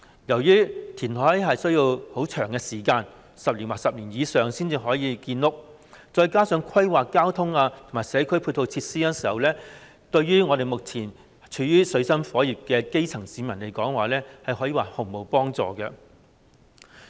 由於填海需要很長時間，要10年或更長時間才可以建屋，再加上要規劃交通和社區配套設施，故此，有關建議對於目前處於水深火熱的基層市民而言，可說是毫無幫助。